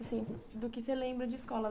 Assim, do que você lembra de escola.